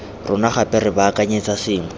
rona gape re baakanyetsa sengwe